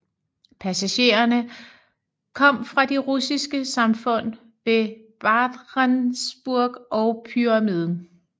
Passagererne kom fra de russiske samfund ved Barentsburg og Pyramiden